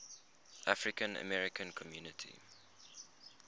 african american community